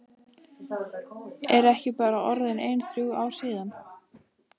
Eru ekki bara orðin ein þrjú ár síðan?